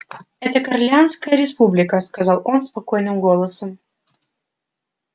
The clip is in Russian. это корелианская республика сказал он спокойным голосом